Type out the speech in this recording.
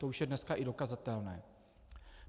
To už je dneska i dokazatelné.